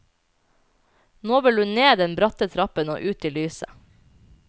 Nå vil hun ned den bratte trappen og ut i lyset.